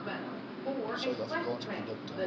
suid afrikaanse produkte